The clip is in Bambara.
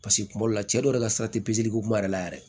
Paseke kuma dɔw la cɛ dɔw yɛrɛ ka sira te ko kuma yɛrɛ la yɛrɛ